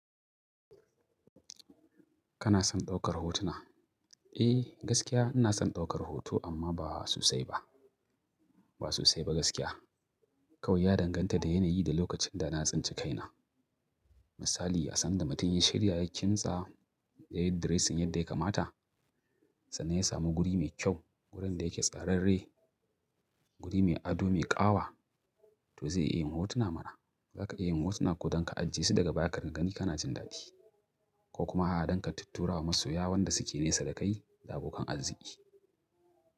Kana son ɗaukar hotuna? Eh gaskiya ina son ɗaukar hoto amma ba sosai ba. Ba sosai ba gaskiya. Kawai ya danganta da yanayi da lokacin da na tsince kaina. Misali, a san da mutum ya shiya ya kimtsa yayi dressing yadda ya kamata, sannan ya samu guri mai kyau, wurin da yake tsararre, guri mai ado, mai ƙawa to zai iya yin hotuna mana. Zaka iya yin hotuna ko dan ka ajiye su daga baya ka ringa gani kana jin daɗi ko kuma a danka tutturawa masoya wan da suke nesa da kai da abokan arziki.